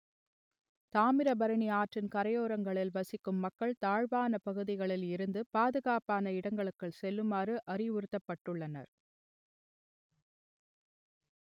தாமிரபரணி ஆற்றின் கரையோரங்களில் வசிக்கும் மக்கள் தாழ்வான பகுதிகளில் இருந்து பாதுகாப்பான இடங்களுக்குள் செல்லுமாறு அறிவுறுத்தப்பட்டுள்ளனர்